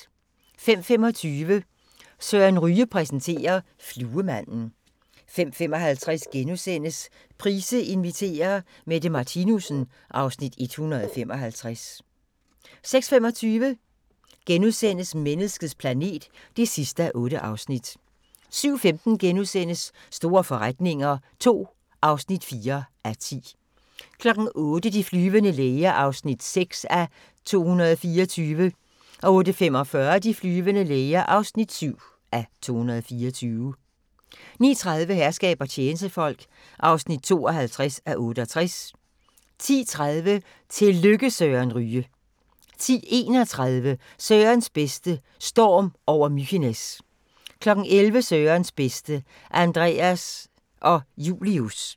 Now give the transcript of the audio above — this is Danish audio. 05:25: Søren Ryge præsenterer: Fluemanden 05:55: Price inviterer: Mette Martinussen (Afs. 155)* 06:25: Menneskets planet (8:8)* 07:15: Store forretninger II (4:10)* 08:00: De flyvende læger (6:224) 08:45: De flyvende læger (7:224) 09:30: Herskab og tjenestefolk (52:68) 10:30: Tillykke Søren Ryge 10:31: Sørens bedste: Storm over Mykines 11:00: Sørens bedste: Anders og Julius